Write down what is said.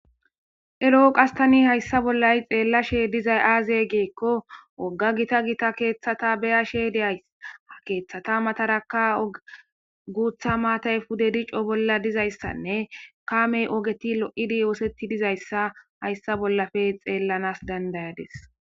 ero7o qastani hayssa bollay xeellashe dizay aaze geekko wogga gita gita keeththata beya she diyaysa keeththata mataraka ogutha maatay pude dico bolla dizayssanne kaamey ogeti lo7idi oosetti dizayssa hayssa bollafe xeellanas dandayades